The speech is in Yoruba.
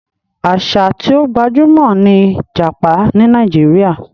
Àṣà tí ó gbajúmọ̀ ni jápa ní Nàíjíríà.